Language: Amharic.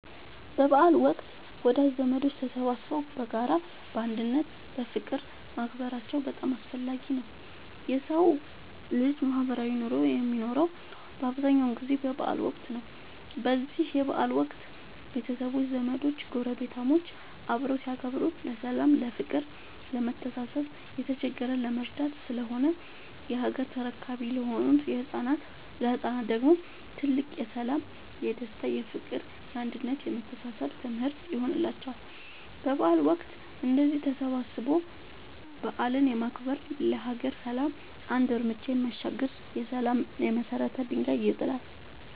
በበዓል ወቅት ወዳጅ ዘመዶች ተሰባስበው በጋራ፣ በአንድነት እና በፍቅር ማክበራቸው በጣም አስፈላጊ ነው የሠው ልጅ ማህበራዊ ኑሮ የሚኖረው በአብዛኛው ጊዜ በበዓል ወቅት ነው። በዚህ በበዓል ወቅት ቤተሰቦች፣ ዘመዶች ጐረቤታሞች አብረው ሲያከብሩ ለሠላም፤ ለፍቅር፣ ለመተሳሰብ፣ የተቸገረን ለመርዳት ስለሆነ የሀገር ተረካቢ ለሆኑት ለህፃናት ደግሞ ትልቅ የሠላም፣ የደስታ፣ የፍቅር፣ የአንድነት የመተሳሰብ ትምህርት ይሆንላቸዋል። በበዓል ወቅት እንደዚህ ተሰባስቦ በዓልን ማክበር ለሀገር ሰላም አንድ ርምጃ የሚያሻግር የሠላም የመሰረት ድንጋይ ይጥላል።